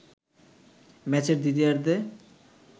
ম্যাচের দ্বিতীয়ার্ধে